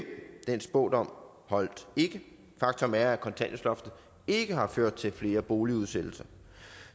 den spådom holdt ikke faktum er at kontanthjælpsloftet ikke har ført til flere boligudsættelser